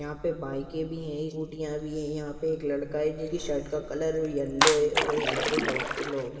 यहाँ पे बाइके भि हैचोटिया भी है यहा पे एक लड़का हैजिसकी शर्ट का कलर केलो है और यहाँ पे बहुत से लोग है।